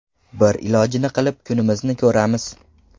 Bir ilojini qilib, kunimizni ko‘ramiz.